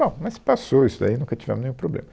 Bom, mas passou isso daí, nunca tivemos nenhum problema.